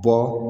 Jɔ